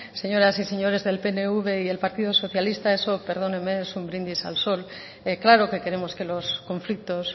señoras y señores del pnv y el partido socialista eso perdónenme eso es un brindis al sol claro que queremos que los conflictos